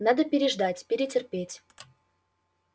надо переждать перетерпеть